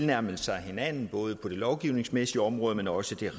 nærmer sig hinanden både på det lovgivningsmæssige område men også